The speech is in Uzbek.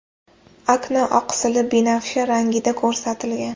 Akna oqsili binafsha rangida ko‘rsatilgan.